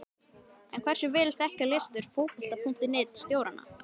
En hversu vel þekkja lesendur Fótbolta.net stjórana?